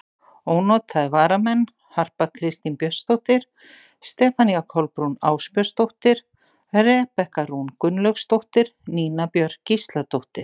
Ónotaðir varamenn: Harpa Kristín Björnsdóttir, Stefanía Kolbrún Ásbjörnsdóttir, Rebekka Rún Gunnlaugsdóttir, Nína Björk Gísladóttir.